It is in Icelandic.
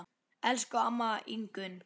Elsku amma Ingunn.